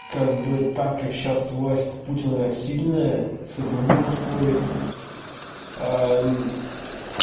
как бы так как сейчас власть путина сильная с этим глупо спорить